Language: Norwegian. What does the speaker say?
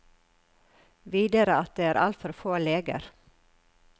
Videre at det er altfor få leger.